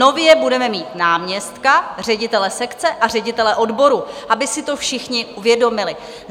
Nově budeme mít náměstka, ředitele sekce a ředitele odboru, aby si to všichni uvědomili.